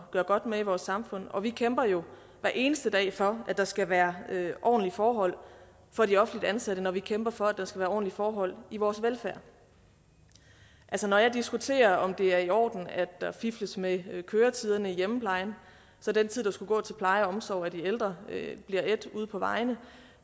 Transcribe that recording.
gøre godt med i vores samfund og vi kæmper jo hver eneste dag for at der skal være ordentlige forhold for de offentligt ansatte når vi kæmper for at der skal være ordentlige forhold i vores velfærd når jeg diskuterer om det er i orden at der fifles med køretiderne i hjemmeplejen så den tid der skulle gå til pleje og omsorg af de ældre bliver ædt ude på vejene